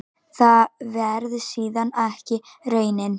Það varð síðan ekki raunin.